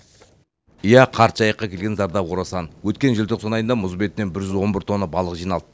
иә қарт жайыққа келген зардап орасан өткен желтоқсан айында мұз бетінен бір жүз он бір тонна балық жиналды